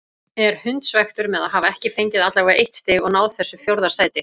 Er hundsvekktur með að hafa ekki fengið allavega eitt stig og náð þessu fjórða sæti.